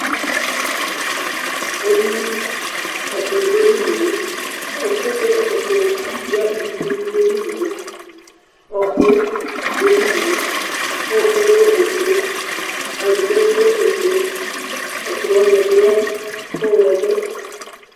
ɛɖini ɛklɔ ɖu eɖiŋé, ɛƒuè ku akutu ya ivifubi ɖu eɖiŋé, ɔku ɖu eɖiŋé, ɔkuɛ lɛ ofue katigba bi lɛ ofue, ɛklɔwani bi lɛ ɔyɔmɔ